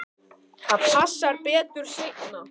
Það passar betur seinna.